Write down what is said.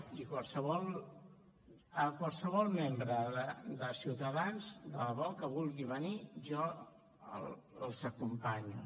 i qualsevol membre de ciutadans de debò que vulgui venir jo els acompanyo